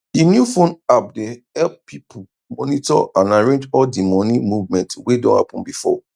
d new phone app dey help pipu monitor and arrange all d moni movement wey don happen before